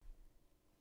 DR1